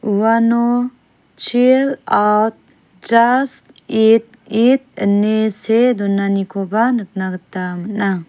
uano chil aut jas it it ine see donakoba nikna gita man·a.